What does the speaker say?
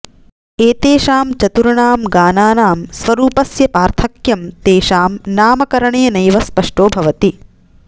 एतेषां चतुर्णां गानानां स्वरूपस्य पार्थक्यं तेषां नामकरणेनैव स्पष्टो भवति